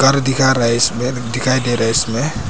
दिखा रहा है इसमें दिखाई दे रहा है इसमें--